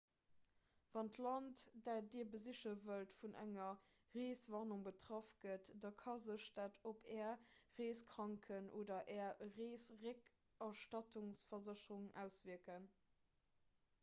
wann d'land dat dir besiche wëllt vun enger reeswarnung betraff gëtt da ka sech dat op är reeskranken oder är reesrécktrëttsversécherung auswierken